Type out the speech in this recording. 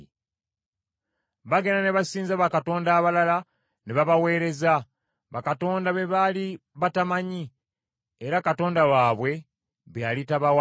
Baagenda ne basinza bakatonda abalala, ne babaweereza, bakatonda be baali batamanyi, era Katonda waabwe be yali tabawadde.